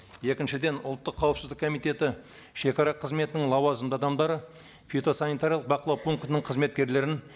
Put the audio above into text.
екіншіден ұлттық қауіпсіздік комитеті шагара қызметінің лауазымды адамдары фитосанитариялық бақылау пунктінің қызметкерлерін